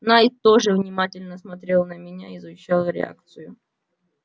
найд тоже внимательно смотрел на меня изучал реакцию